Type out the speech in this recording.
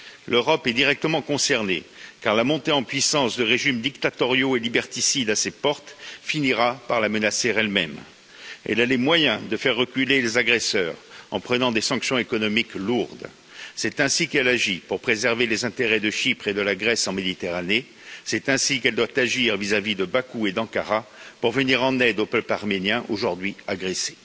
L'Europe est directement concernée car la montée en puissance de régimes dictatoriaux et liberticides à ses portes, finira par la menacer elle même. Elle a les moyens de faire reculer les agresseurs en prenant des sanctions économiques lourdes, c'est ainsi qu'elle agit pour préserver les intérêts de Chypre et de la Grèce en Méditerranée, c'est ainsi qu'elle doit agir vis à vis de Bakou et d'Ankara pour venir en aide au peuple arménien aujourd'hui agressé.